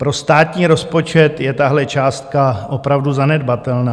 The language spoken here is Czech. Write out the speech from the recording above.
Pro státní rozpočet je tahle částka opravdu zanedbatelná.